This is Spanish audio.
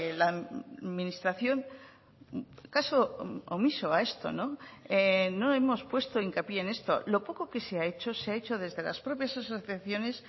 la administración caso omiso a esto no hemos puesto hincapié en esto lo poco que se ha hecho se ha hecho desde las propias asociaciones